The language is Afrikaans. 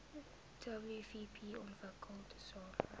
wvp ontwikkel tesame